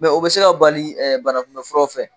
o bɛ se ka bali banakunbɛfuraw fɛ.